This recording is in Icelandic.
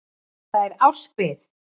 Þar er árs bið.